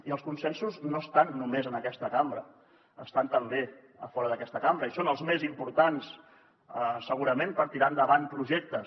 i els consensos no estan només en aquesta cambra estan també a fora d’aquesta cambra i són els més importants segurament per tirar endavant projectes